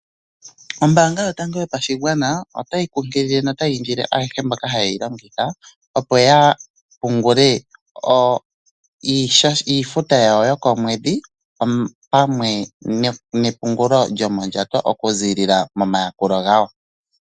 Oombanga yotango yopashigwana otayi kunkilile no tayi indile ayehe mboka ha yeyi longitha opo yapungule iifuta yawo yokomwedhi opamwe nepungulo lyomondjato okuziilila momayakulo gawo.